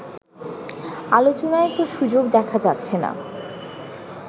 “ আলোচনার তো সুযোগ দেখা যাচ্ছেনা